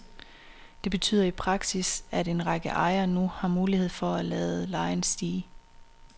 Det betyder i praksis, at en række ejere nu har mulighed for at lade lejen stige.